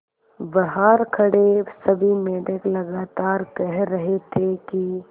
बहार खड़े सभी मेंढक लगातार कह रहे थे कि